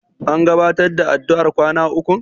An gabatar da addu'ar kwana ukun?